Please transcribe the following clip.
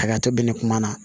Hakɛto bɛ ne kuma na